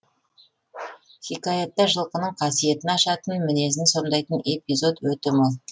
хикаятта жылқының қасиетін ашатын мінезін сомдайтын эпизод өте мол